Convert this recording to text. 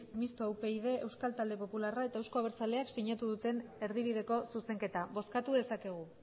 mistoa upyd euskal talde popularra eta euzko abertzaleak sinatu duten erdibideko zuzenketa bozkatu dezakegu